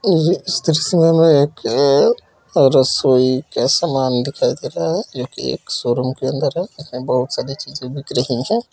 और इस दृश्य में हमें एक अ-रसोई का सामान दिखाई दे रहा है जो कि एक शोरूम के अंदर है इसमें बहोत सारी चीजें बिक रही हैं।